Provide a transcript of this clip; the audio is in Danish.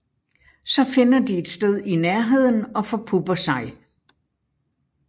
Så finder de et sted i nærheden og forpupper sig